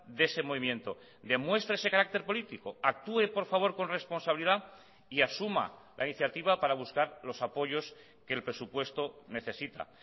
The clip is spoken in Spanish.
de ese movimiento demuestre ese carácter político actúe por favor con responsabilidad y asuma la iniciativa para buscar los apoyos que el presupuesto necesita